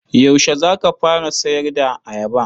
Yaushe za ka fara sayar da ayaba?